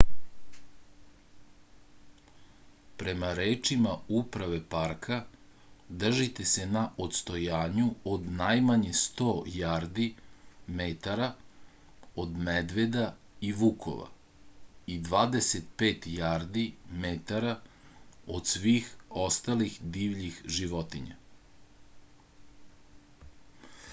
према речима управе парка држите се на одстојању од најмање 100 јарди/метара од медведа и вукова и 25 јарди/метара од свих осталих дивљих животиња!